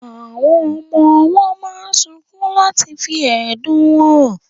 Àwọn ọmọ owó máa sunkún láti fí ẹ̀dùn wọn hàn